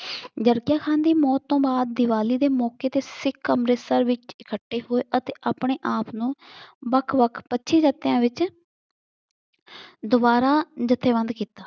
ਜਰਕੀਆਂ ਖਾਨ ਦੀ ਮੌਤ ਤੋਂ ਬਾਦ ਦੀਵਾਲੀ ਦੇ ਮੌਕੇ ਤੇ ਸਿੱਖ ਅੰਮ੍ਰਿਤਸਰ ਵਿੱਚ ਇਕੱਠੇ ਹੋਏ ਅਤੇ ਆਪਣੇ ਆਪ ਨੂੰ ਵੱਖ-ਵੱਖ ਪੱਚੀ ਜੱਤਿਆਂ ਵਿੱਚ ਦੁਬਾਰਾ ਜਥੇਬੰਦ ਕੀਤਾ।